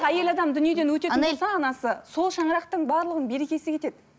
әйел адам дүниеден өтетін болса анасы сол шаңырақтың барлығының берекесі кетеді